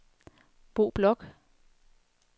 Bo Bloch